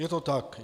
Je to tak?